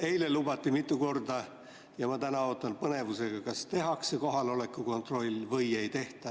Eile lubati seda mitu korda ja ma täna ootan põnevusega, kas tehakse kohaloleku kontroll või ei tehta.